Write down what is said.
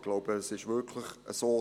Ich glaube, es ist wirklich so: